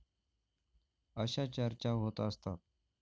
अशा चर्चा होत असतात.